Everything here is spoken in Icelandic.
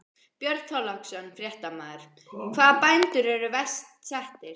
Björn Þorláksson, fréttamaður: Hvaða bændur eru verst settir?